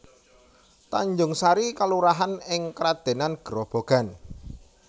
Tanjungsari kelurahan ing Kradenan Grobogan